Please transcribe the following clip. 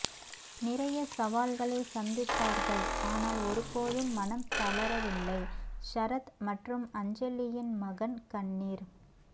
நிறைய சவால்களை சந்தித்தார்கள் ஆனால் ஒரு போதும் மனம் தளரவில்லை ஷரத் மற்றும் அஞ்சலியின் மகன் கண்ணீர்